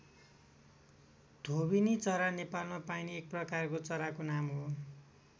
धोबिनी चरा नेपालमा पाइने एक प्रकारको चराको नाम हो।